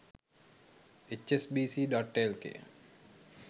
hsbc.lk